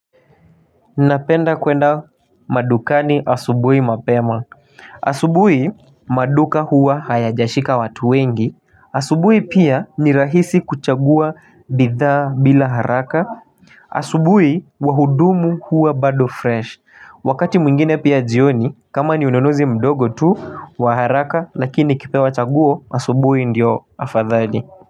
Napenda kwenda madukani asubui mapema asubui maduka huwa hayajashika watu wengi asubui pia ni rahisi kuchagua bidhaa bila haraka asubui wahudumu huwa bado fresh Wakati mwingine pia jioni kama ni ununuzi mdogo tu wa haraka lakini nikipewa chaguo asubuhi ndio afadhali.